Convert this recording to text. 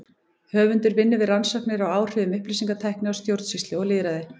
Höfundur vinnur við rannsóknir á áhrifum upplýsingatækni á stjórnsýslu og lýðræði.